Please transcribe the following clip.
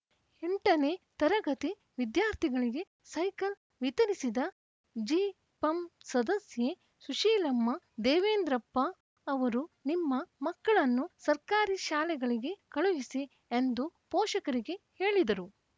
ಎಂಟನೇ ತರಗತಿ ವಿದ್ಯಾರ್ಥಿಗಳಿಗೆ ಸೈಕಲ್‌ ವಿತರಿಸಿದ ಜಿಪಂ ಸದಸ್ಯೆ ಸುಶೀಲಮ್ಮ ದೇವೇಂದ್ರಪ್ಪ ಅವರು ನಿಮ್ಮ ಮಕ್ಕಳನ್ನು ಸರ್ಕಾರಿ ಶಾಲೆಗಳಿಗೆ ಕಳುಹಿಸಿ ಎಂದು ಪೋಷಕರಿಗೆ ಹೇಳಿದರು